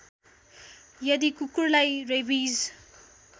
यदि कुकुरलाई रेबिज